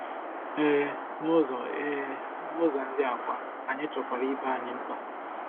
Ee, nụzọ Ee, nụzọ ndị a kwa, anyị chọkwara ibe anyị mkpa.